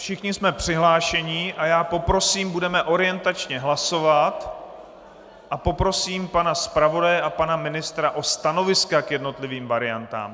Všichni jsme přihlášeni a já poprosím, budeme orientačně hlasovat a poprosím pana zpravodaje a pana ministra o stanoviska k jednotlivým variantám.